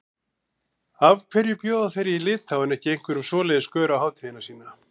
Af hverju bjóða þeir í Litháen ekki einhverjum svoleiðis gaur á hátíðina sína?